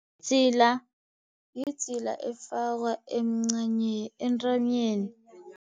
Idzila, yidzila elifakwa entanyeni.